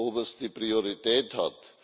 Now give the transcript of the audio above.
oberste Priorität hat.